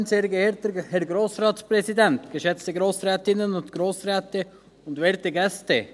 Wir lehnen ebenfalls das Postulat ab.